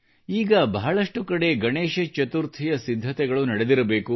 ಈಗ ಬಹಳಷ್ಟು ಕಡೆಗಳಲ್ಲಿ ಗಣೇಶ ಚತುರ್ಥಿಯ ಸಿದ್ಧತೆಗಳು ನಡೆದಿರಬೇಕು